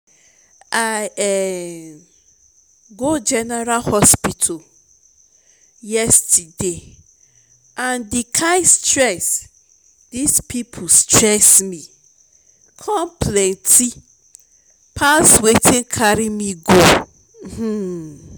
i um go general hospital yesterday and the kyn stress dis people stress me come plenty pass wetin carry me go um